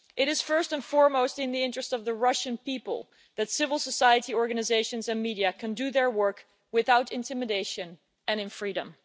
It is, first and foremost, in the interests of the Russian people that civil society organisations and media can do their work without intimidation and in freedom.